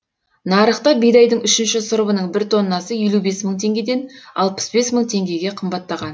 нарықта бидайдың үшінші сұрыбының бір тоннасы елу бес мың теңгеден алпыс бес мың теңгеге қымбаттаған